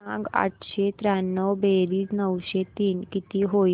सांग आठशे त्र्याण्णव बेरीज नऊशे तीन किती होईल